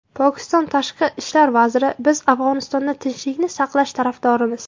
Pokiston tashqi ishlar vaziri: Biz Afg‘onistonda tinchlikni saqlash tarafdorimiz.